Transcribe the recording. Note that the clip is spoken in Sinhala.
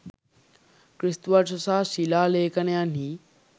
ක්‍රිස්තු වර්ෂ සහ ශිලා ලේඛනයන්හි